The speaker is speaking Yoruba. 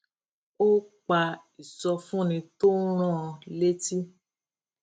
ó pa ìsọfúnni tó ń rán an létí